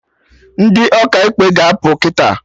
Ndị Ọkaikpe ga-apụ kịta